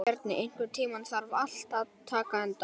Bjarni, einhvern tímann þarf allt að taka enda.